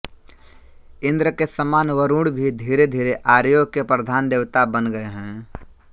इन्द्र के समान वरुण भी धीरेधीरे आर्यों के प्रधान देवता बन गये हैं